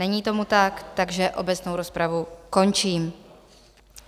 Není tomu tak, takže obecnou rozpravu končím.